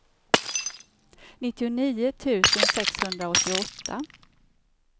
nittionio tusen sexhundraåttioåtta